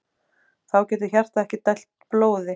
Þá getur hjartað ekki dælt blóði.